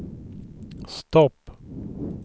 stopp